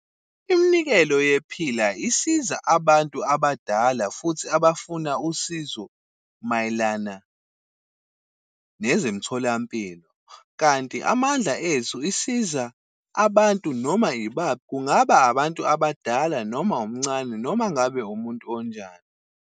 Iminikelo yePhila isiza abantu abadala futhi abafuna usizo mayelana nezemtholampilo. Kanti Amandla Ethu isiza abantu noma ibaphi, kungaba abantu abadala noma umncane, noma ngabe umuntu onjani.